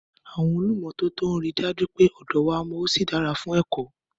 Àwọn olùmọ́tótó rí i dájú pé ọ̀dọ wa mọ́ ó sì dára fún ẹ̀kọ́.